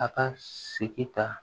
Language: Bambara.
A ka segin ka